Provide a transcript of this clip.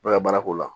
N'a ye baara k'o la